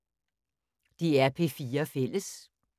DR P4 Fælles